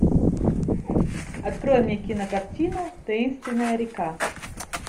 открой мне кинокартину таинственная река